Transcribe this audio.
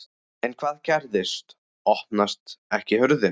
En hvað gerist. opnast ekki hurðin!